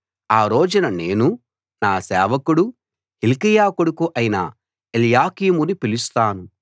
ఆ రోజున నేను నా సేవకుడూ హిల్కీయా కొడుకూ అయిన ఎల్యాకీముని పిలుస్తాను